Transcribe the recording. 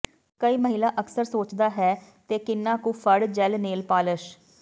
ਕਈ ਮਹਿਲਾ ਅਕਸਰ ਸੋਚਦਾ ਹੈ ਤੇ ਕਿੰਨਾ ਕੁ ਫੜ ਜੈੱਲ ਨੇਲ ਪਾਲਸ਼